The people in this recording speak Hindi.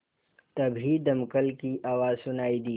तभी दमकल की आवाज़ सुनाई दी